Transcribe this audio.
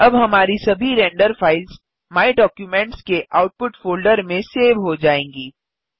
अब हमारी सभी रेंडर फ़ाइल्स माय डॉक्यूमेंट्स के आउटपुट फ़ोल्डर में सेव हो जाएँगी